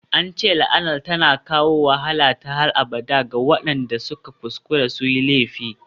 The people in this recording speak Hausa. An ce la'anar tana kawo wahala ta har abada ga waɗanda suka kuskura su yi laifi.